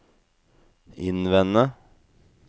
innvende